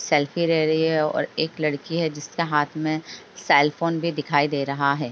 Selfie ले रही है और एक लड़की है जिसके हाथ में सेलफोन भी दिखाई दे रहा है।